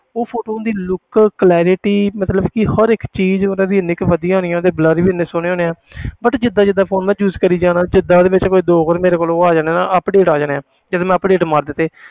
ਉਹ photos ਦੀ look clarity ਮਤਲਬ ਕਿ ਹਰ ਇੱਕ ਚੀਜ਼ ਮਤਲਬ ਵੀ ਇੰਨੀ ਕੁ ਵਧੀਆ ਆਉਣੀ ਆ ਉਹਦੇ blur ਵੀ ਇੰਨੇ ਸੋਹਣੇ ਆਉਣੇ ਆਂ but ਜਿੱਦਾਂ ਜਿੱਦਾਂ phone ਮੈਂ use ਕਰੀ ਜਾਣਾ ਜਿੱਦਾਂ ਉਹਦੇ ਵਿੱਚ ਕੋਈ ਦੋ ਵਾਰ ਕੋਲ ਉਹ ਆ ਜਾਣਾ ਨਾ update ਆ ਜਾਣੇ ਜਦੋਂ ਮੈਂ update ਮਾਰ ਦਿੱਤੇ